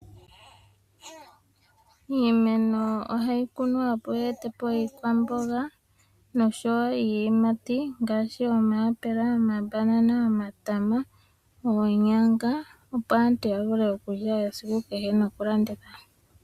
Iimeno ohayi kunwa opo yeetepo iikwamboga oshowo iiyimati ngaashi omayapela, omabanana, omatama noonyanga opo aantu ya vule okulya nokulanditha.